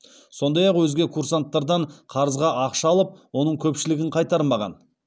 сондай ақ өзге курсанттардан қарызға ақша алып оның көпшілігін қайтармаған